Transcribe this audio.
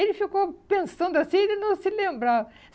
Ele ficou pensando assim e ele não se lembrava.